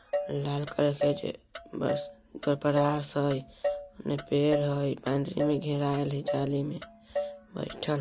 लाल colour के बस brush है एने पेड़ है एमे घेराइल है जाली में बइठल--